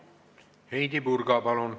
Heidy Purga, palun!